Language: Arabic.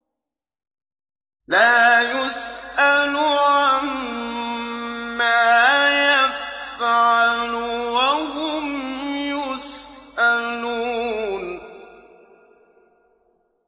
لَا يُسْأَلُ عَمَّا يَفْعَلُ وَهُمْ يُسْأَلُونَ